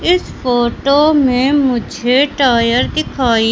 इस फोटो में मुझे टायर दिखाई--